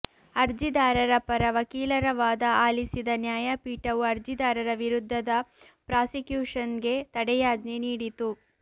ಅರ್ಜಿದಾರರ ಪರ ವಕೀಲರ ವಾದ ಆಲಿಸಿದ ನ್ಯಾಯಪೀಠವು ಅರ್ಜಿದಾರರ ವಿರುದ್ಧದ ಪ್ರಾಸಿಕ್ಯೂಷನ್ಗೆ ತಡೆಯಾಜ್ಞೆ ನೀಡಿತು